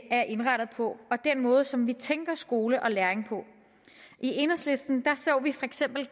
er indrettet på og den måde som vi tænker skole og læring på i enhedslisten så vi for eksempel